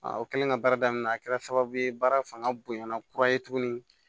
o kɛlen ka baara daminɛ a kɛra sababu ye baara fanga bonya na kura ye tuguni